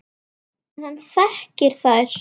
En hann þekkir þær.